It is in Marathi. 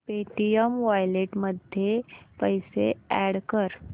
पेटीएम वॉलेट मध्ये पैसे अॅड कर